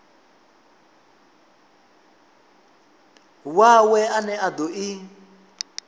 wawe ane a do i